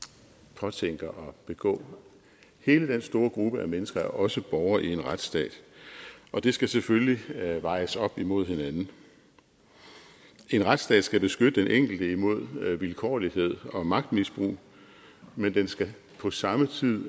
påtænker at begå hele den store gruppe af mennesker er også borgere i en retsstat det skal selvfølgelig vejes op imod hinanden en retsstat skal beskytte den enkelte imod vilkårlighed og magtmisbrug men den skal på samme tid